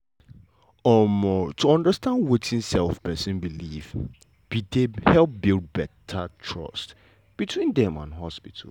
um to understand wetin um pesin believe be dey help build beta trust between dem and hospital.